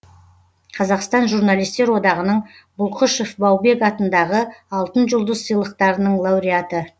қазақстан журналистер одағының бұлқышев баубек атындағы алтын жұлдыз сыйлықтарының лауреаты